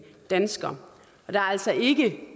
danskere og der er altså ikke